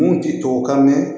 Mun ti tubabukan mɛn